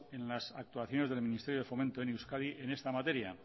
en las actuaciones del ministerio de fomento en euskadi en esta materia